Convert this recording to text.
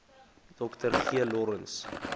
dr g lawrence